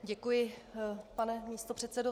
Děkuji, pane místopředsedo.